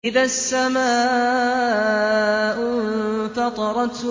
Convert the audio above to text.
إِذَا السَّمَاءُ انفَطَرَتْ